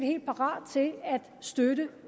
helt parate til at støtte